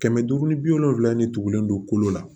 Kɛmɛ duuru ni bi wolonfila nin tugulen don kolo la